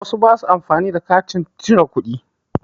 Wasu ba su amfani da katin cire kuɗi